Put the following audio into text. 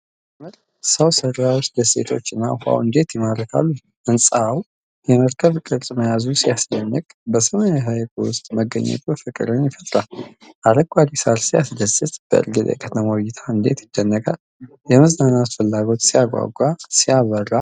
ሲያምር! ሰው ሰራሽ ደሴቶችና ውሀው እንዴት ይማርካሉ! ህንፃው የመርከብ ቅርጽ መያዙ ሲያስደንቅ! በሰማያዊው ሀይቅ ዉስጥ መገኘቱ ፍቅርን ይፈጥራል! አረንጓዴው ሣር ሲያስደስት! በእርግጥ የከተማው እይታ እንዴት ይደነቃል! የመዝናናት ፍላጎት ሲያጓጓ! ሲያበራ!